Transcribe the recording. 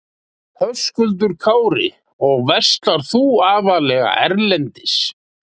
Höskuldur Kári: Og verslar þú þá aðallega erlendis?